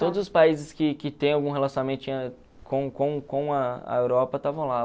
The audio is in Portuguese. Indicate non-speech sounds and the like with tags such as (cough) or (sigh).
Todos os países que que têm algum relacionamento (unintelligible) com com com a a Europa estavam lá.